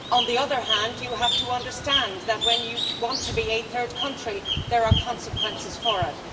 On the other hand, you have to understand that, when you want to be a third country, there are consequences for it.